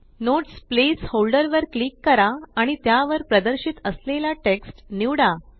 notes placeholder वर click करा आणि त्यावर प्रदर्शित असलेला टेक्स्ट निवडा